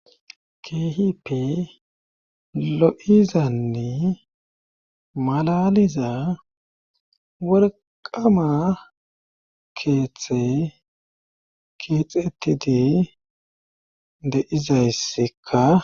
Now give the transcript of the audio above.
Keehippe lo7izanne malaliza worqqama keeththey keexetide deizayssekka.